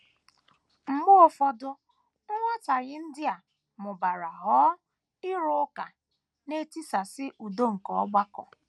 Mgbe ụfọdụ, nghọtahie ndị a mụbara ghọọ “ ịrụ ụka, ” na - etisasị udo nke ọgbakọ.